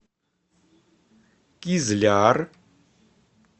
кизляр